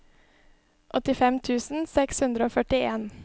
åttifem tusen seks hundre og førtien